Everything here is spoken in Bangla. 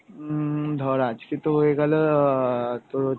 উম ধর আজকে তো হয়ে গেল অ্যাঁ তোর